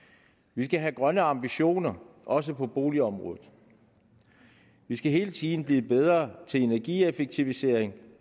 vi skal have grønne ambitioner også på boligområdet vi skal hele tiden blive bedre til energieffektivisering